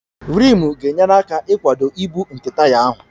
Rimu ga-enyere aka ịkwado ibu nke taya ahụ